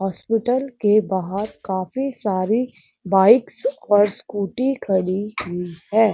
Hospital के बाहर काफी सारी बाइक्स और स्कूटी खड़ी हुई हैं।